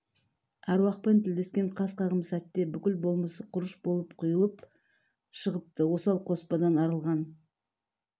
аруақпен тілдескен қас қағым сәтте бүкіл болмысы құрыш болып құйылып шығыпты осал қоспадан арылған